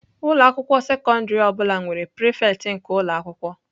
Ụlọ akwụkwọ sekọndrị ọ bụla nwere prefect nke ụlọ akwụkwọ.